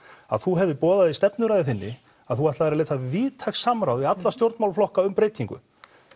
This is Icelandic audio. að þú hafir boðað í stefnuræðu þinni að þú ætlaðir að leita víðtæks samráðs við alla stjórnmálaflokka um breytingu